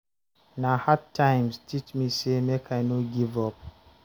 Na hard times teach me sey make I no give up.